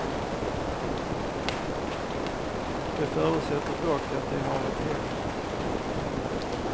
Det förutsätter dock att de har ett hem.